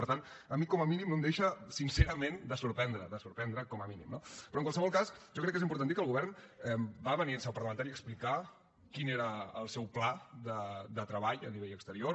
per tant a mi com a mínim no em deixa sincerament de sorprendre de sorprendre com a mínim no però en qualsevol cas jo crec que és important dir que el govern va venir en seu parlamentària a explicar quin era el seu pla de treball a nivell exterior